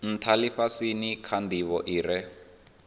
ntha lifhasini kha ndivho ire